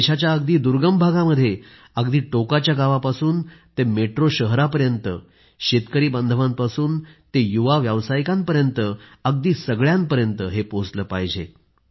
देशाच्या अगदी दुर्गम भागामध्ये अगदी टोकाच्या गावापासून ते मेट्रो शहरांपर्यंत शेतकरी बांधवांपासून ते युवा व्यावसायिकांपर्यंत अगदी सगळ्यांपर्यंत हे पोहोचले पाहिजे